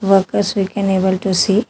Workers we can able to see.